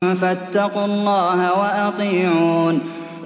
فَاتَّقُوا اللَّهَ وَأَطِيعُونِ